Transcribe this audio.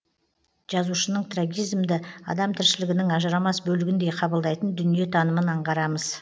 жазушының трагизмді адам тіршілігінің ажырамас бөлігіндей қабылдайтын дүниетанымын аңғарамыз